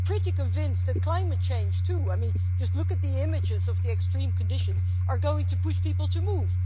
I'm pretty convinced that climate change, too I mean just look at the images of the extreme conditions is going to push people to move.